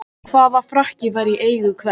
Hvaða frakki var í eigu hvers?